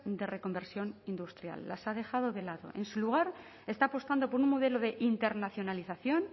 de reconversión industrial las ha dejado de lado en su lugar está apostando por un modelo de internacionalización